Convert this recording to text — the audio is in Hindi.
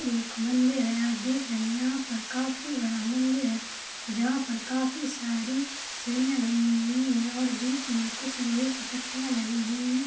ये एक मंदिर है आप देख रहे है यहाँ पर काफी बड़ा मंदिर है जहाँ पर काफी सारी सीढ़ियां गयी हुई है और बीच में कुछ लोहे की पट्टियां लगी हुई है।